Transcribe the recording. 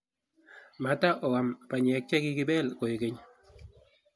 Matahuam banyek chegikibeel koeg keny